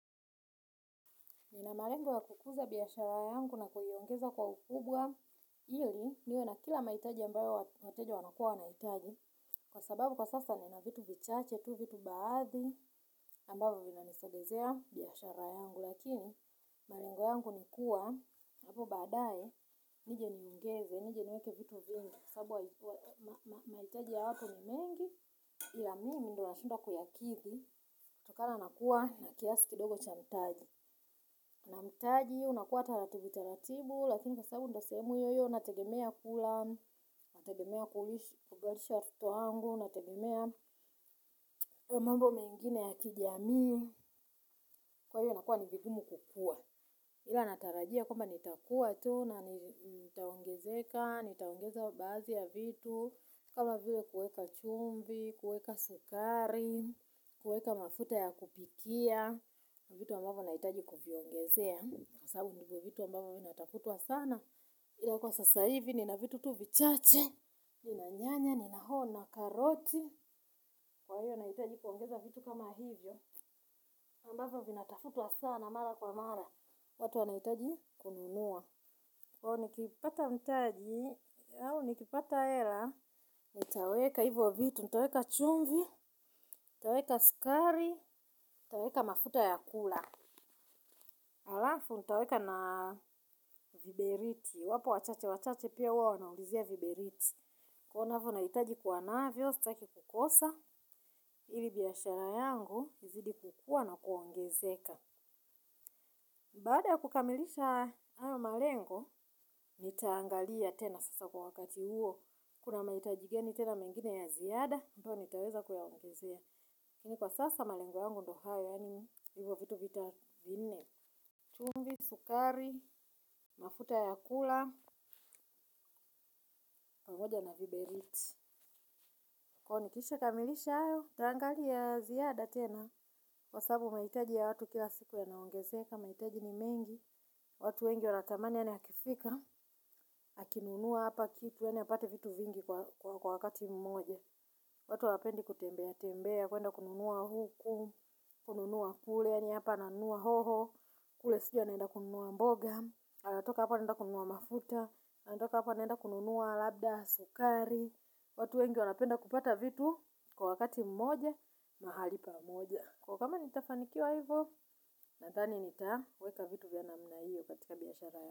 Nina malengo ya kukuza biashara yangu na kuiongeza kwa ukubwa ili niwe na kila mahitaji ambayo wateja wanakua wana hitaji. Kwa sababu kwa sasa ni na vitu vichache tu vitu baadhi ambavyo vinanisogezea biashara yangu. Lakini, malengo yangu ni kuwa, hapo badae, nije niongeze, nije niweke vitu vingi. Kwa sababu mahitaji ya hatu ni mengi ila mimi ndio wa shindwa kuyakidhi kutokana na kuwa na kiasi kidogo cha mtaji. Na mtaji unakuwa taratibu taratibu. Lakini kwasabu ndo sehemu hiyo hiyo nategemea kula. Nategemea kulisha, kuvalisha watoto wangu. Nategemea mambo mengine ya kijamii. Kwa hiyo inakuwa ni vigumu kukua ila natarajia kwamba nitakuwa tu na nitaongezeka. Nitaongeza baadhi ya vitu. Kama vile kuweka chumvi, kuweka sukari kuweka mafuta ya kupikia vitu wa mbavyo nahitaji kuviongezea. Kwa sababu ndio vitu ambavyo vinatafutwa sana. Ila kwa sasa hivi nina vitu tu vichache. Nina nyanya, nina hoho nina karoti. Kwa hiyo nahitaji kuongeza vitu kama hivyo ambavyo vinatafutwa sana mara kwa mara. Watu wanahitaji kununua. Kwahiyo nikipata mtaji au nikipata hela nitaweka hivyo vitu. Nitaweka chumvi. Nitaweka sukari. Nitaweka mafuta ya kula alafu nitaweka na viberiti wapo wa chache wa chache pia huwa wanaulizia viberiti. Kwahiyo navyo nahitaji kua navyo, staki kukosa. Ili biashara yangu, izidi kukua na kuongezeka baada ya kukamilisha hayo malengo nitaangalia tena sasa kwa wakati huo. Kuna mahitaji gani tena mengine ya ziada ambayo nitaweza kuyaongezea kwa sasa malengo yangu ndo hayo. Yani hivyo vitu vita vinne chumvi, sukari, mafuta ya kula, pamoja na viberiti. Kwahiyo nikisha kamilisha hayo nitaangalia ziada tena. Kwasabu mahitaji ya watu kila siku ya naongezea mahitaji ni mengi. Watu wengi watamani yani yakifika. Akinunuwa hapa kitu yani apate vitu vingi kwa wakati mmoja. Watu hawapendi kutembea. Tembea kwenda kununuwa huku. Kununuwa kule ya ni hapa ananunua hoho. Kule sijui anaenda kununuwa mboga. Anatoka hapa anaenda kununuwa mafuta. Anatoka hapa anaenda kununuwa labda sukari. Watu wengi wanapenda kupata vitu kwa wakati mmoja mahali pa mmoja. Kwa hiyo kama nitafanikiwa hivyo, nadhani nitaweka vitu vya namna hiyo katika biashara ya.